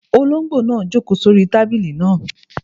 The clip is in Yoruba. Olóngbò náà n jòkó sórí tábìlì náà